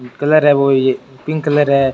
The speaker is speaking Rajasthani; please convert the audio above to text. कलर है वॉइ पिंक कलर है।